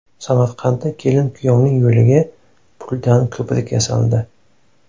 Samarqandda kelin-kuyovning yo‘liga puldan ko‘prik yasaldi .